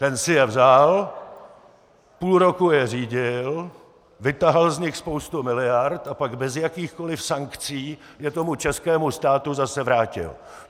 Ten si je vzal, půl roku je řídil, vytahal z nich spoustu miliard a pak bez jakýchkoliv sankcí je tomu českému státu zase vrátil.